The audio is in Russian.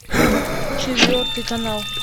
четвертый канал